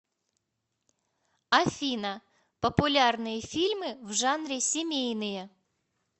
афина популярные фильмы в жанре семейные